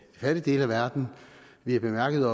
fattige del af verden vi bemærkede at